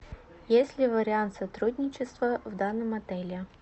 есть ли вариант сотрудничества в данном отеле